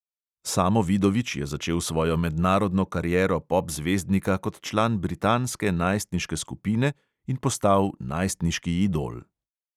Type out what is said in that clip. Samo vidovič je začel svojo mednarodno kariero pop zvezdnika kot član britanske najstniške skupine in postal najstniški idol.